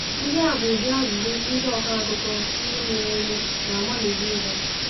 Ndị a bụ ụdị ajụjụ ndị ọkọ akụkọ ihe mere eme na-agbalị ịza.